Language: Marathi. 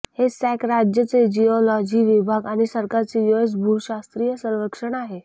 हे सॅक राज्य चे जिओलॉजी विभाग आणि सरकारचे यूएस भूशास्त्रीय सर्वेक्षण आहे